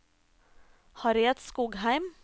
Harriet Skogheim